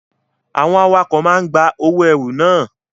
Àwọn awakọ̀ máa ń gba owó ẹrù na.